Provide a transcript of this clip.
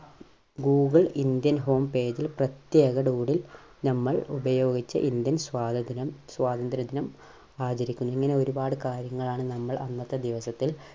Google indian home page ൽ പ്രത്യേക Doodle നമ്മൾ ഉപയോഗിച്ച ഇന്ത്യൻ സ്വാതന്ത്ര്യ, സ്വാതന്ത്ര്യ ദിനം ആചരിക്കുന്നത് ഇങ്ങനെ ഒരുപാട് കാര്യങ്ങളാണ് നമ്മൾ അന്നത്തെ ദിവസത്തിൽ